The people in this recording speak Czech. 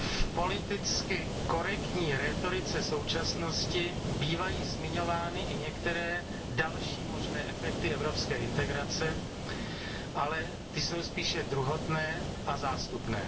V politicky korektní rétorice současnosti bývají zmiňovány i některé další možné efekty evropské integrace, ale ty jsou spíše druhotné a zástupné.